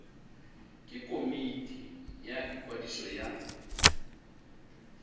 ke komiti ya ikwadiso ya